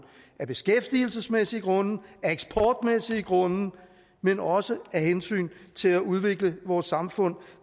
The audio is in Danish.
af beskæftigelsesmæssige grunde af eksportmæssige grunde men også af hensyn til at udvikle vores samfund